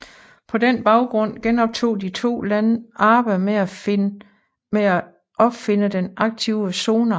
På den baggrund genoptog de to lande arbejdet med opfinde den aktive sonar